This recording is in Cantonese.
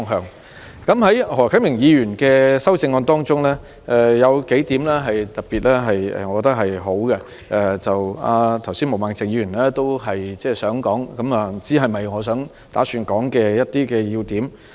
我認為何啟明議員的修正案中有數點是特別好的，毛孟靜議員剛才也想指出，但不知道是否我打算提出的要點。